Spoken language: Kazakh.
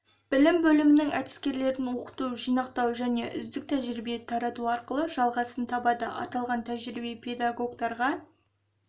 білім бөлімінің әдіскерлерін оқыту жинақтау және үздік тәжірибе тарату арқылы жалғасын табады аталған тәжірибе педагогтарға